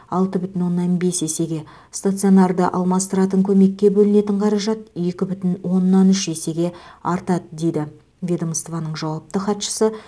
алты бүтін оннан бес есеге стационарды алмастыратын көмекке бөлінетін қаражат екі бүтін оннан үш есеге артады дейді ведомствоның жауапты хатшысы